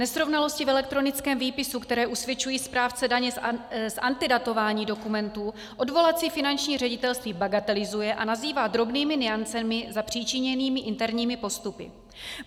Nesrovnalosti v elektronickém výpisu, které usvědčují správce daně z antidatování dokumentů, odvolací finanční ředitelství bagatelizuje a nazývá drobnými nuancemi zapříčiněnými interními postupy.